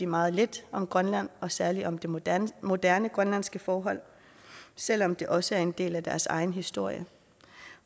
meget lidt om grønland og særlig om de moderne moderne grønlandske forhold selv om det også er en del af deres egen historie